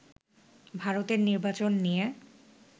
ভারতের নির্বাচন নিয়ে